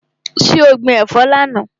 So gbin ẹ̀fọ́ lánàá?